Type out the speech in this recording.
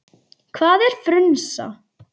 Hvað er frunsa?